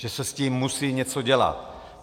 Že se s tím musí něco dělat.